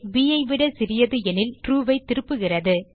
bஐ விட சிறியது எனில் இது ட்ரூ ஐ திருப்புகிறது